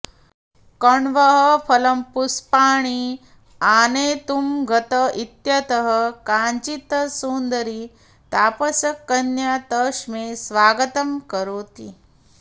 कण्वः फलपुष्पाणि आनेतुं गत इत्यतः काचित् सुन्दरी तापसकन्या तस्मै स्वागतं करोति